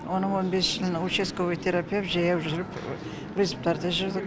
оның он бес жылын участковый терапевт жаяу жүріп рецептарды жазып